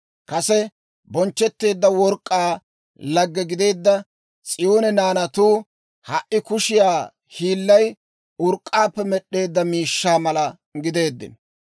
Kase bonchchetteedda work'k'aa lagge gideedda S'iyoone naanatuu ha"i kushiyaa hiillay urk'k'aappe med'd'eedda miishshaa mala gideeddino.